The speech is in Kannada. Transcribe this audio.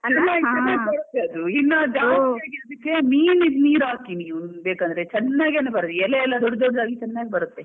ಚೆನ್ನಾಗಿ ಬರುತ್ತೆ ಅದು ಜಾಸ್ತಿ ಆಗಿ ಅದಿಕ್ಕೆ ಮೀನ್ ನಿದ್ದು ನೀರ್ ಹಾಕ್ತಿನಿ ಬೇಕಾದ್ರೆ ಚೆನ್ನಾಗಿ ಒಂದು ಬರುತ್ತೆ ಎಲೆ ಎಲ್ಲ ದೊಡ್ಡ ದೊಡ್ಡೋದಾಗಿ ಚೆನ್ನಾಗಿ ಬರುತ್ತೆ.